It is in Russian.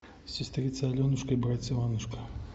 сестрица аленушка и братец иванушка